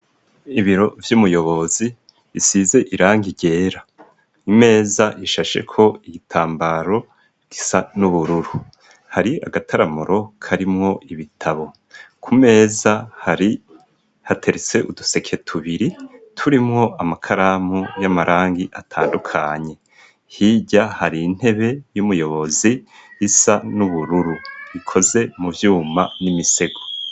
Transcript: Ibiro vy'umuyobozi bisize irangi ryera. Imeza ishasheko igitambara gisa n'ubururu. Hari agataramuro karimwo ibitabo. Ku meza hateretse uduseke tubiri turimo amakaramu y'amarangi atandukanye. Hirya har'intebe y'umuyobozi isa n'ubururu, ikoze mu vyuma n'imisego.